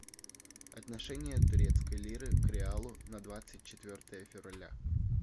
отношения турецкой лиры к реалу на двадцать четвертое февраля